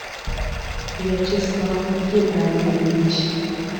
вячеслав геннадьевич